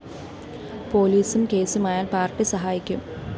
പോലീസും കേസുമായാല്‍ പാര്‍ട്ടി സഹായിക്കും